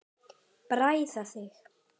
Bræða þig.